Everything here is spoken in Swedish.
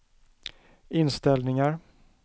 inställningar